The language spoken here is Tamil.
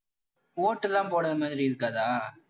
ஓட்டெல்லாம் போட மாதிரி இருக்காதா?